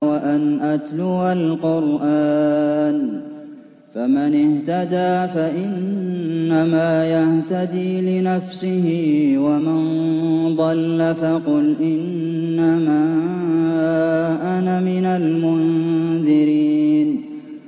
وَأَنْ أَتْلُوَ الْقُرْآنَ ۖ فَمَنِ اهْتَدَىٰ فَإِنَّمَا يَهْتَدِي لِنَفْسِهِ ۖ وَمَن ضَلَّ فَقُلْ إِنَّمَا أَنَا مِنَ الْمُنذِرِينَ